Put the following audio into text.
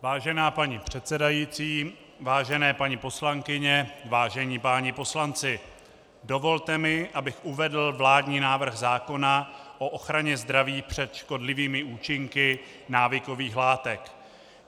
Vážená paní předsedající, vážené paní poslankyně, vážení páni poslanci, dovolte mi, abych uvedl vládní návrh zákona o ochraně zdraví před škodlivými účinky návykových látek.